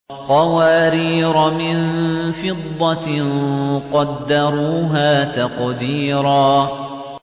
قَوَارِيرَ مِن فِضَّةٍ قَدَّرُوهَا تَقْدِيرًا